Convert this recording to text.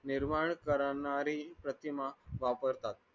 निर्माण करणारी प्रतिमा वापरतात